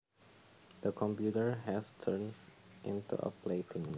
The computer has turned into a plaything